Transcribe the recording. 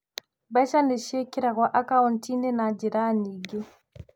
Mbeca nĩ ciĩkĩragũo akaũnti-inĩ na njĩra nyingĩ.